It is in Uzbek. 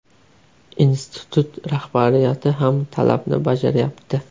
Institut rahbariyati ham talabni bajarayapti.